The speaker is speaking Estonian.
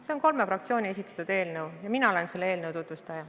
See on kolme fraktsiooni esitatud eelnõu ja mina olen selle eelnõu tutvustaja.